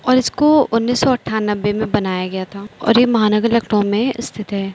और इसको उन्नीस सौ अनठानबे में बनाया गया था और यह महानगर लखनऊ में स्थित है।